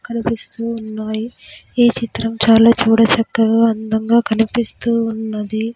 కనిపిస్తూ ఉన్నాయి ఈ చిత్రం చాలా చూడ చక్కగా అందంగా కనిపిస్తూ ఉన్నది.